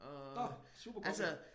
Nåh super kombi